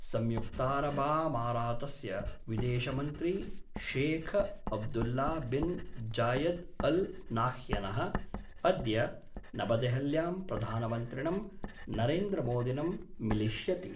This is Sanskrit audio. संयुक्तारबामारातस्य विदेशमंत्री Sheikh Abdullah bin Zayed Al नाह्यनः अद्य नवदेहल्यां प्रधानमन्त्रिणं नरेन्द्रमोदिनम् मिलिष्यति।